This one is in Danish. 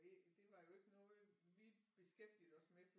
Det det var jo ikke noget vi beskæftigede os med